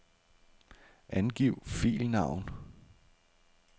Angiv filnavn.